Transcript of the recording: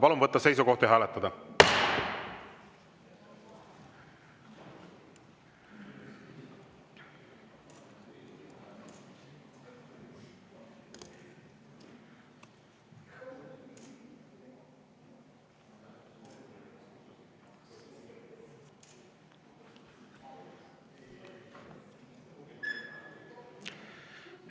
Palun võtta seisukoht ja hääletada!